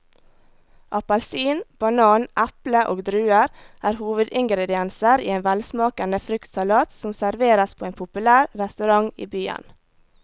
Appelsin, banan, eple og druer er hovedingredienser i en velsmakende fruktsalat som serveres på en populær restaurant i byen.